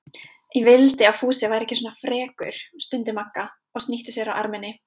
Ég vildi að Fúsi væri ekki svona frekur, stundi Magga og snýtti sér á erminni.